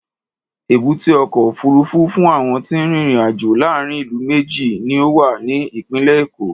Èbúté ọkọ̀ òfuurufú fún àwọn tí ń rin ìrìn-àjò láàárín ìlú méjì ni ó wà ní ìpínlẹ̀ Èkó.